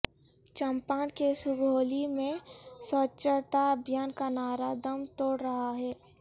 چمپارن کے سگولی میں سوچھتاابھیان کانعرہ دم توڑرہا ہے